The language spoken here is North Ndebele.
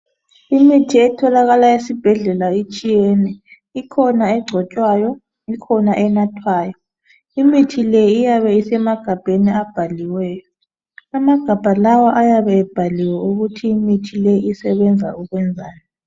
Imithi etholakala esibhedlela itshiyene, ikhona egcotshwayo, ikhona enathwayo. Imithi le iyabe isemagabheni abhaliweyo. Amagabha lawa ayabe ebhaliwe ukuthi imithi le isebenza ukwenzani.